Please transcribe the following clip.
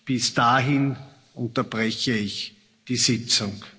Bis dahin unterbreche ich die Sitzung.